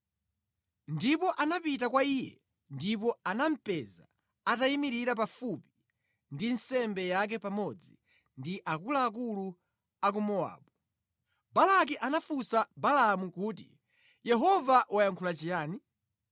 Ndipo anapita kwa iye ndipo anamupeza atayimirira pafupi ndi nsembe yake pamodzi ndi akuluakulu a ku Mowabu. Balaki anafunsa Balaamu kuti, “Yehova wayankhula chiyani?”